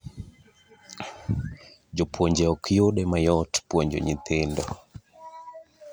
esumnd tnd Si tekaunti e tamthilia ‘kigogo’ which lapses in 2021 will be replaced by ‘si shwari.